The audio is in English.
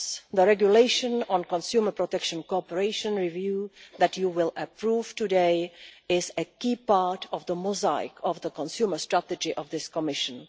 The Regulation on Consumer Protection Cooperation review that you will approve today is a key part of the mosaic of the consumer strategy of this Commission.